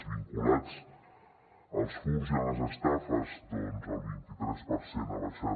els vinculats als furts i a les estafes doncs el vint i tres per cent han baixat